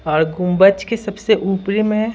और गुंबच के सबसे ऊपरी में --